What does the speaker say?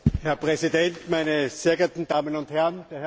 Herr Präsident, meine sehr geehrten Damen und Herren!